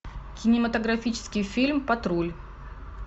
кинематографический фильм патруль